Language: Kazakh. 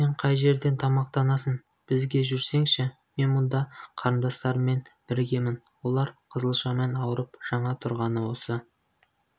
сен қай жерден тамақтанасың бізге жүрсеңші мен мұнда қарындастарыммен біргемін олар қызылшамен ауырып жаңа тұрған осы